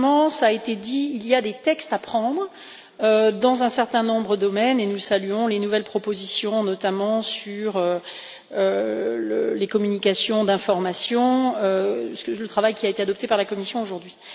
Cela a été dit, il y a des textes à adopter dans un certain nombre de domaines, et nous saluons les nouvelles propositions, notamment au sujet de la communication d'information, à savoir le travail qui a été adopté par la commission aujourd'hui.